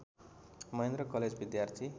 Mahendra college विद्यार्थी